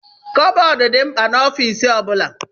Kọbọd dị mkpa na ọfiisi ọbula.